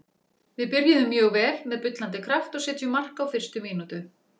Við byrjuðum mjög vel, með bullandi kraft og setjum mark á fyrstu mínútu.